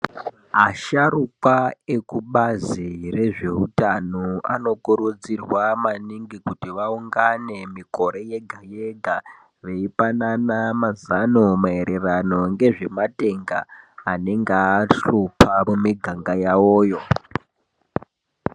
Asharukwa ekubazi rezveutano anokurudzirwa maningi kuti vaungane mikore yega-yega ,veipanana mazano maererano ngezvematenda, anenga ahlupha mumiganga yawoyo.